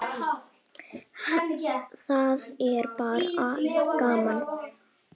Þetta er bara gaman.